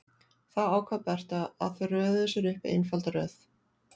Þá ákvað Berta að þau röðuðu sér upp í einfalda röð.